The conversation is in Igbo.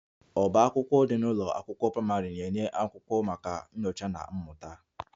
Ọbá akwụkwọ dị n'ụlọ akwụkwọ praịmarị na-enye akwụkwọ maka nyocha na mmụta